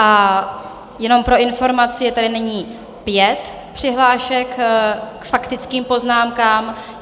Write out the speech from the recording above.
A jenom pro informaci, je tady nyní pět přihlášek k faktickým poznámkám.